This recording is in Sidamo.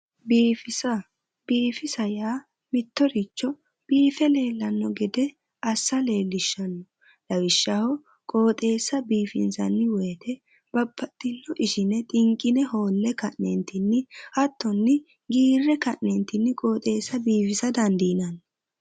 Biifisa biifisa yaa mittoricho biife leellanno gede assa leellishshanno lawishshaho qooxeessa biifinsanni woyte babbaxxino ishine xinqine hoolle ka'neentinni hattonni giirre ka'neentinni qooxeessa biifisa dandiinanni